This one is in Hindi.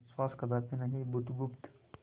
विश्वास कदापि नहीं बुधगुप्त